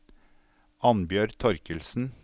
Annbjørg Torkildsen